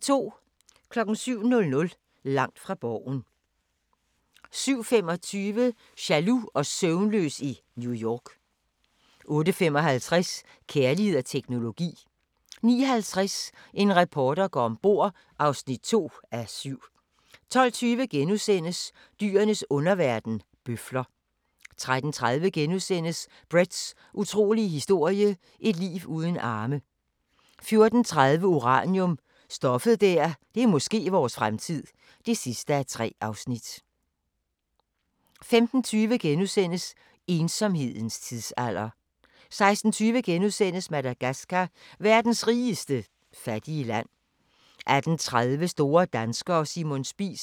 07:00: Langt fra Borgen 07:25: Jaloux og søvnløs i New York 08:55: Kærlighed og teknologi 09:50: En reporter går om bord (2:7) 12:20: Dyrenes underverden – bøfler * 13:30: Bretts utrolige historie – et liv uden arme * 14:30: Uranium – stoffet der måske er vores fremtid (3:3) 15:20: Ensomhedens tidsalder * 16:20: Madagascar – verdens rigeste fattige land * 18:30: Store danskere – Simon Spies